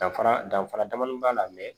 Danfara danfara damadɔni b'a la